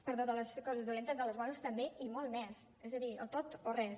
perdó de les coses dolentes de les bones també i molt més és a dir o tot o res